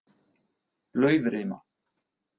Laufrima